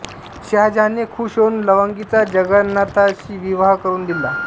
शहाजहानने खुश होऊन लवंगीचा जगन्नाथाशी विवाह करून दिला